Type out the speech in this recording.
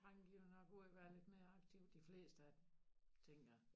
Drenge de jo nok og være lidt mere aktiv de fleste af dem tænker jeg